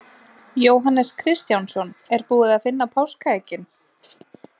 Jóhannes Kristjánsson: Er búið að finna páskaeggin?